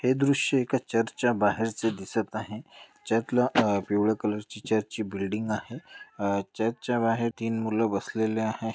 हे दृश्य एका चर्चच्या बाहेरचं दिसत आहे. चर्चला अह पिवळ्या कलर ची बिल्डिंग आहे. अह चर्चच्या बाहेर तीन मुलं बसलेले आहे.